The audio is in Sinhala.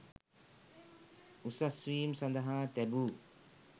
උසස් වීම් සඳහා තැබු